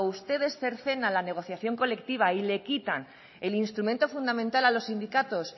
ustedes cercenan la negociación colectiva y le quitan el instrumento fundamental a los sindicatos